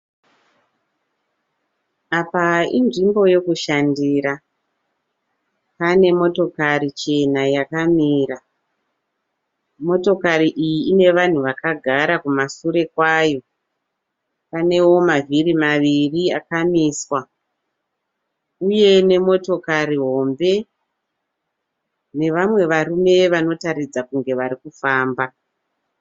Apa inzvimbo yokushandira. Pane motokari chena yakamira. Motokari iyi ine vanhu vakagara kumasure kwayo. Panewo mavhiri maviri akamiswa, uye nemotokari hombe nevamwe varume vanotaridza kuti varikufamba.